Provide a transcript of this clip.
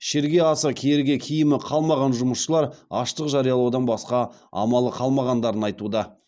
ішерге асы киерге киімі қалмаған жұмысшылар аштық жариялаудан басқа амалы қалмағандарын айтуда